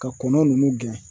Ka kɔnɔn ninnu gɛn